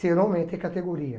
Ser homem é ter categoria.